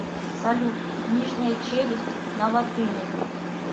салют нижняя челюсть на латыни